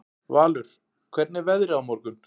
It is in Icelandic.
Valur, hvernig er veðrið á morgun?